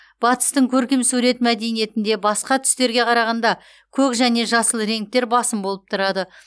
батыстың көркем сурет мәдениетінде басқа түстерге қарағанда көк және жасыл реңктер басым болып тұрады